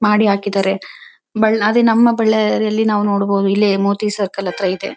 ಮಾಡಿ ಹಾಕಿದಾರೆ ಬಳ್ ಅದೇ ನಮ್ಮ ಬಳ್ಳಾರಿ ಯಲ್ಲಿ ನಾವು ನೋಡಬಹುದು ಇಲ್ಲೇ ಮೋತಿ ಸರ್ಕಲ್ ಹತ್ರ ಇದೆ .